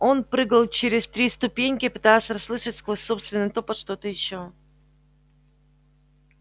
он прыгал через три ступеньки пытаясь расслышать сквозь собственный топот что-то ещё